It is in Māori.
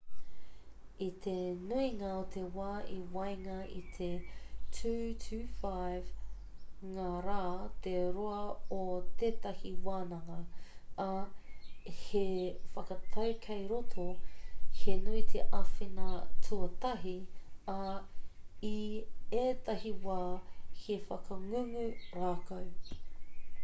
i te nuinga o te wā i waenga i te 2-5 ngā rā te roa o tētahi wānanga ā he whakatau kei roto he nui te āwhina tuatahi ā i ētahi wā he whakangungu rākau